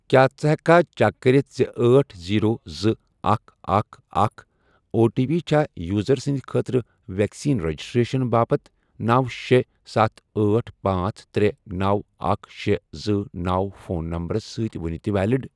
کیٛاہ ژٕ ہیٚککھا چیک کٔرِتھ زِ أٹھ، زیرو، زٕ، اکھ، اکھ، اکھ، او ٹی پی چھا یوزر سٕنٛدۍ خٲطرٕ ویکسین رجسٹریشن باپتھ نو، شے، ستھ، أٹھ، پانژھ، ترے، نو، اکھ، شے، زٕ، نو، فون نمبرَس سۭتۍ وُنہِ تہِ ویلِڑ؟